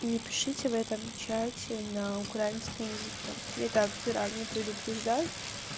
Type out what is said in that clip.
не пишите в этом чате на украинском языке я так заранее предупреждаю